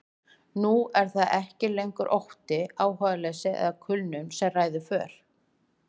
Nú er það ekki lengur ótti, áhugaleysi eða kulnun sem ræður för.